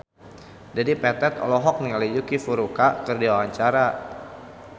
Dedi Petet olohok ningali Yuki Furukawa keur diwawancara